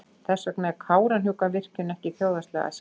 Þess vegna er Kárahnjúkavirkjun ekki þjóðhagslega æskileg.